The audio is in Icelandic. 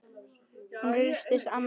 Hún virtist annars hugar.